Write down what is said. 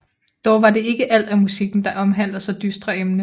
Dog var det ikke alt af musikken der omhandler så dystre emne